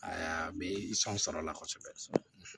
Aa be sɔrɔ la kɔsɔbɛ